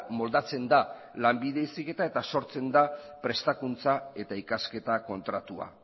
moldatzen da lanbide heziketa eta sortzen da prestakuntza eta ikasketa kontratua